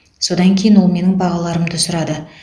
содан кейін ол менің бағаларымды сұрады